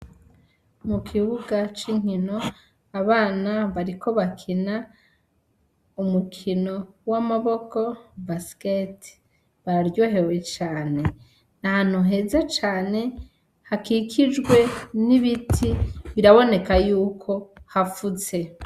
Mu kibuga c'inkino abana bariko bakina umukino w'amaboko basiketi, baryohewe cane, n'ahantu heza cane hakikijwe n'ibiti, biraboneka yuko hafutse.